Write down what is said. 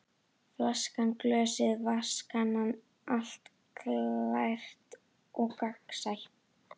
Flaskan, glösin og vatnskannan, allt glært og gagnsætt.